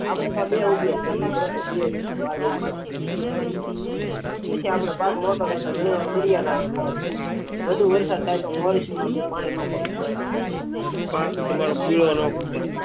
આપડે બે ઉપયોગ કરી પછી આપડો પાક મોટો થાય ગણી વાર મુળિયા નાખીને વધુ વરસાદ થાય તો પાણી માફક